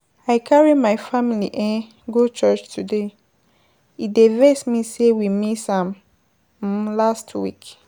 I carry my family um go church today, e dey vex me say we miss am um last week.